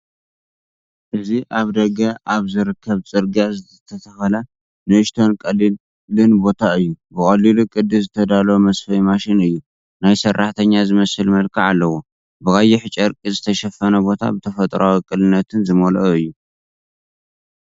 እዚ ኣብ ደገ ኣብ ዝርከብ ጽርግያ ዝተተኽለ ንእሽቶን ቀሊልን ቦታ እዩ። ብቐሊል ቅዲ ዝተዳለወ መስፈይ ማሽን እዩ፡ ናይ ሰራሕተኛ ዝመስል መልክዕ ኣለዎ። ብቐይሕ ጨርቂ ዝተሸፈነ ቦታ፡ ብተፈጥሮኣዊ ቅልልነት ዝመልአ እዩ።